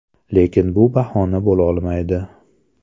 Lekin bu bahona bo‘lolmaydi.